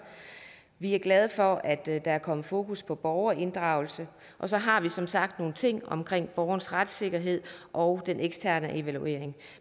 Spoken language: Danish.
vi er glade for at der er kommet fokus på borgerinddragelse og så har vi som sagt nogle ting omkring borgernes retssikkerhed og den eksterne evaluering